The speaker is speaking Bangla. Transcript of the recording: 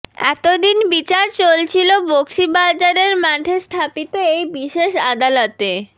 এতদিন বিচার চলছিল বকশীবাজারের মাঠে স্থাপিত এই বিশেষ আদালতে